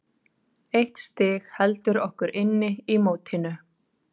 Eitt stig heldur okkur inn í mótinu.